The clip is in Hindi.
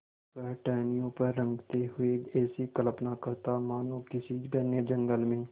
वह टहनियों पर रेंगते हुए ऐसी कल्पना करता मानो किसी घने जंगल में